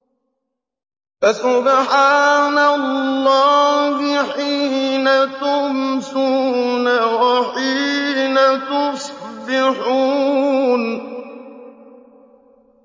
فَسُبْحَانَ اللَّهِ حِينَ تُمْسُونَ وَحِينَ تُصْبِحُونَ